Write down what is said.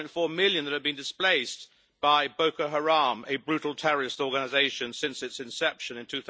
1.4 million that have been displaced by Boko Haram, a brutal terrorist organisation, since its inception in